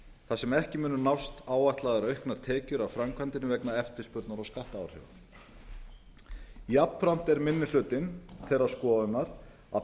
þar sem ekki munu nást áætlaðar auknar tekjur af framkvæmdinni vegna eftirspurnar og skattaáhrifa jafnframt er minni hlutinn þeirrar skoðunar að